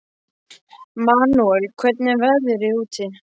Manúel, hvernig er veðrið úti?